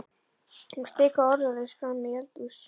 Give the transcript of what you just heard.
Hún stikaði orðalaust fram í eldhús.